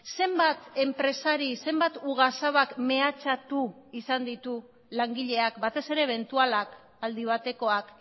zenbat enpresari zenbat ugazabak mehatxatu izan ditu langileak batez ere ebentualak aldi batekoak